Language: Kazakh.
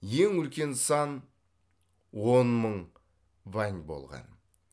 ең үлкен сан он мың вань болған